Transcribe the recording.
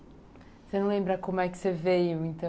Você não lembra como é que você veio, então?